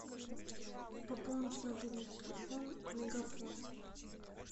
пополнить мобильный телефон мегафон